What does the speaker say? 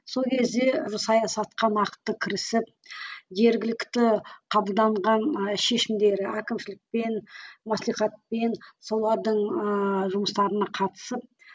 сол кезде саясатқа нақты кірісіп жергілікті қабылданған ы шешімдері әкімшілікпен маслихатпен солардың ыыы жұмыстарына қатысып